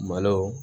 Malo